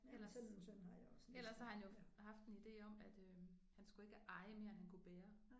Ellers ellers så har han jo haft en ide om at øh han skulle ikke eje mere end han kunne bære